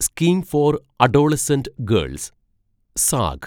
scheme for adolescent girls zag